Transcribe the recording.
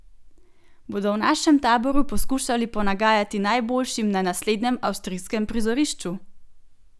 Bodo v našem taboru poskušali ponagajati najboljšim na naslednjem avstrijskem prizorišču?